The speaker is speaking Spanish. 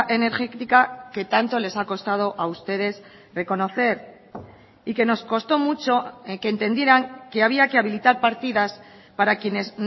energética que tanto les ha costado a ustedes reconocer y que nos costó mucho que entendieran que había que habilitar partidas para quienes